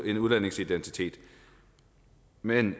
en udlændings identitet men